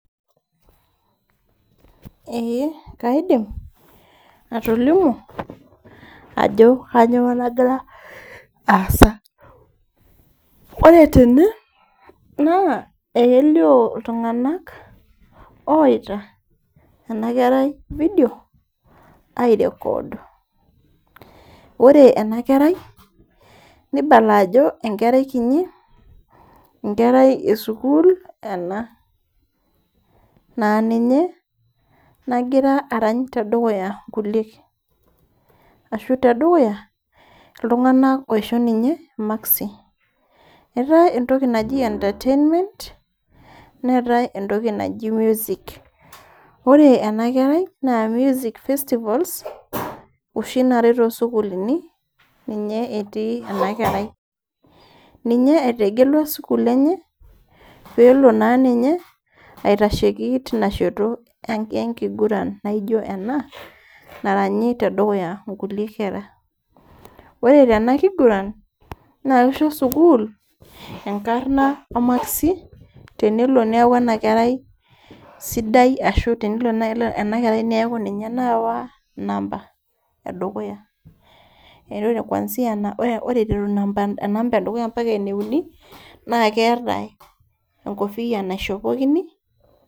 Ee kaidim atolimu ajo kainyioo nagira aasa, ore tene naa ekelioo iltung'anak ooyaita ena kerai video airecord ore ena kerai nibala ajo enkerai kiti, enkerai esukuul ena naa ninye nagira arany tedukuya nkuliek ashu tedukuya iltung'anak oishon ninye maksi neetai entoki naji music ore ena kerai naa music festivals naati isukuluuni ninye etii ena kerai ninye etegelua sukuul enye pee ele naa ninye aitasheiki tina shoto enkiguran naaijo ena naranyi tedukuya nkulie kera ore tena kiguran naa kisho sukuul enkarna omaksi tenelo neeku ena kerai sidai shu tenelo naai ena kerai neeku ninye naai naawa namba edukuya ore iteru namba edukuya mpaka eneuni naa keetae enkopiyiaa naishopokini.